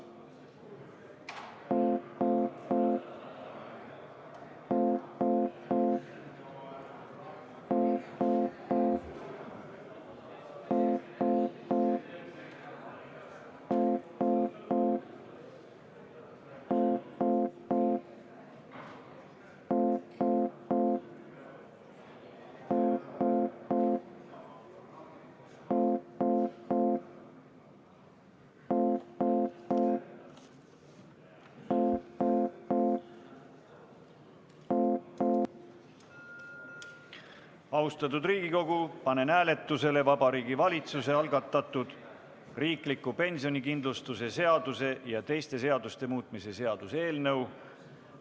Austatud Riigikogu, panen hääletusele Vabariigi Valitsuse algatatud riikliku pensionikindlustuse seaduse ja teiste seaduste muutmise seaduse eelnõu.